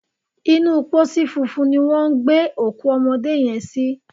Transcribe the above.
Inú pósí funfun ni wọ́n gbé òkú ọmọdé yẹn sí.